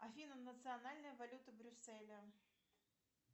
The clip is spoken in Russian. афина национальная валюта брюсселя